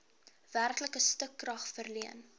werklike stukrag verleen